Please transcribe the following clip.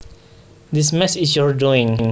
This mess is your doing